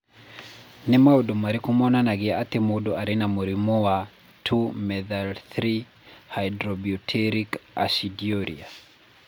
Nĩ maũndũ marĩkũ monanagia atĩ mũndũ arĩ na mũrimũ wa 2 methyl-3 hydroxybutyric aciduria?